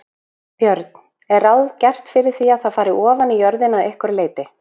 Björn: Er ráð gert fyrir því að það fari ofaní jörðina að einhverju leyti?